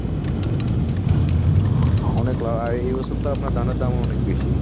অনেকো আর এই বছর তো আপনার ধানের দাম অনেক বেশি